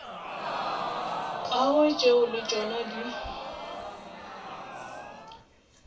gagwe tšeo le tšona di